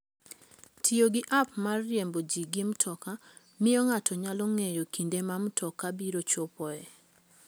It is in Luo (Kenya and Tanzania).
Tiyo gi app mag riembo ji gi mtoka miyo ng'ato nyalo ng'eyo kinde ma mtoka biro chopoe.